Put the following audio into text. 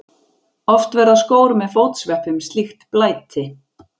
Oft verða skór með fótsveppum slíkt blæti.